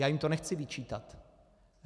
Já jim to nechci vyčítat.